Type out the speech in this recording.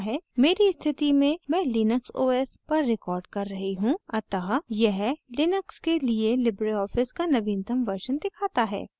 मेरी स्थिति में मैं linux os पर recording कर रही हूँ अतः यह लिनक्स के लिए लिबरे ऑफिस का नवीनतम version दिखाता है